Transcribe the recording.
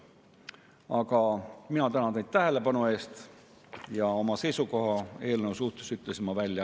Aga mina tänan teid tähelepanu eest, oma seisukoha eelnõu suhtes ütlesin ma välja.